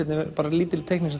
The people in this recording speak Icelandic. lítil teikning